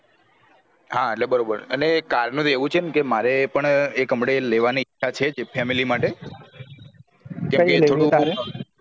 હા એટલે બરોબર અને car નું એવું છે મારે પણ એક હુમડે લેવાની ઈચ્છા છે family માટે